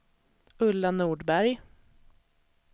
Ulla Nordberg